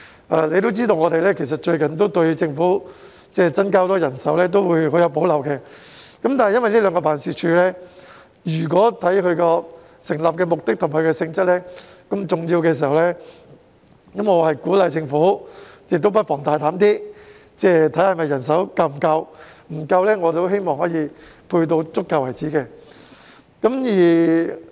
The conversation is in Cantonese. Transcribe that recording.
大家也知道，最近我們對於政府要大幅增加人手很有保留，但觀乎這兩個辦事處的成立目的和性質這麼重要，我鼓勵政府不妨放膽審視人手是否足夠；如果不足夠，便增加至足夠為止。